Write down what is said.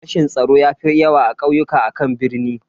Rashin tsaro ya fi yawa a kauyuka akan birni.